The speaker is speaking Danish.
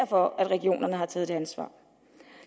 for at regionerne har taget det ansvar